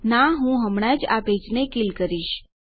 ના હું હમણાં જ આ પેજને કીલ કરીશ